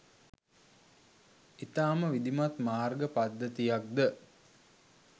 ඉතාමත් විධිමත් මාර්ග පද්ධතියක්ද